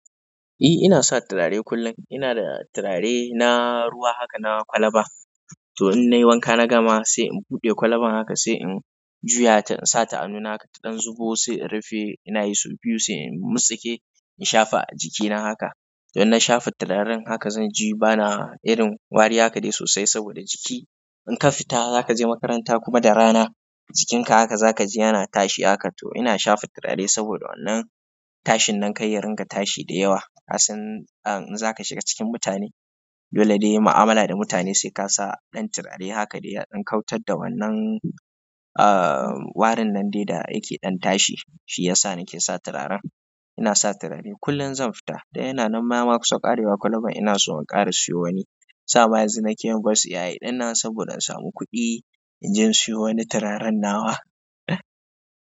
Eh ina sa turare kullum. Ina da turare na ruwa haka, na kwalba. To in nayi wanka na gama sai in buɗe kwalban haka sai in juya ta in sa ta hanuna haka ta ɗan zubo sai in rufe ina yi sau biyu sai in motsake in shafa a jikina haka. To in na shafa turaren haka zan ji bana irin wari haka dai sosai saboda jiki in ka fita za ka je makaranta kuma da rana jikinka haka za ka ji yana tashi haka. To ina shafa turare saboda wannan tashin nan karya ringa tashi da yawa. Kasan in za ka shiga cikin mutane dole ne yi mu'amala da mutane sai ka sa ɗan turare haka dai ya ɗan kyautar da wannan, uh warin nan dai da yake ɗan tashi. Shi yasa nake sa turaren. Ina sa turare kullum zan fita. Da yana nan yama kusa ƙarewa kwalban ina so in ƙara siyo wani. Sa ma yanzu nake yin voice ai ɗinnan saboda in samu kuɗi in je in siyo wani turaren nawa.